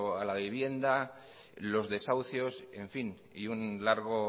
a la vivienda los desahucios en fin y un largo